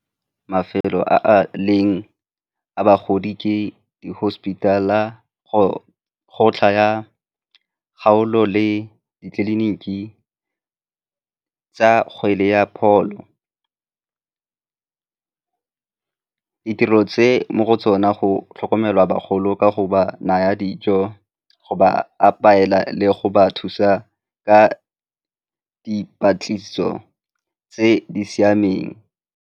Mafelo a a leng a bagodi ke di-hospital-a, go tsaya kgaolo le ditleliniki tsa kgwele ya pholo. Ditirelo tse mo go tsona go tlhokomelwa bagolo ka go ba naya dijo, go ba le go ba thusa ka dipatlisiso tse di siameng.